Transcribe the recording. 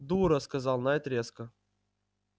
дура сказал найд резко